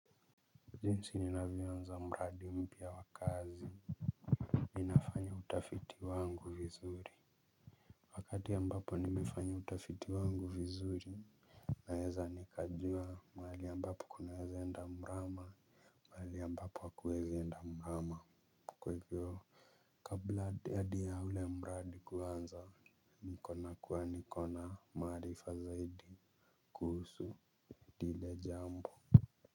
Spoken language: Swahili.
Jinsi ninavyowaza mradi mpya wa kazi ninafanya utafiti wangu vizuri. Wakati ambapo nimefanya utafiti wangu vizuri naweza nikajua mahali ambapo kunaweza enda mrama. Mahali ambapo hakuezi enda mrama kwa hivyo kabla hadi ya ule mradi kuanza nikaona kuwa nikona maarifa zaidi kuhusu lile jambo.